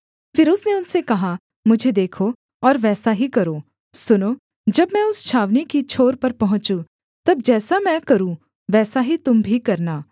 फिर उसने उनसे कहा मुझे देखो और वैसा ही करो सुनो जब मैं उस छावनी की छोर पर पहुँचूँ तब जैसा मैं करूँ वैसा ही तुम भी करना